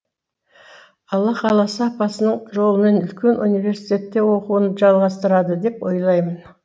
алла қаласа апасының жолымен үлкен университетте оқуын жалғастырады деп ойлаймын